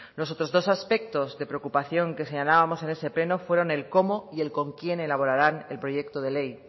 los otros dos aspectos de preocupación que señalábamos en ese pleno fueron el cómo y el con quién elaborarán el proyecto de ley